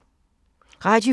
Radio 4